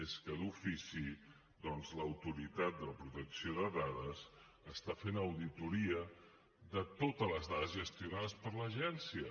és que d’ofici doncs l’autoritat de protecció de dades està fent auditoria de totes les dades gestionades per l’agència